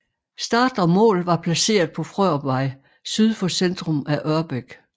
Start og mål var placeret på Frørupvej syd for centrum af Ørbæk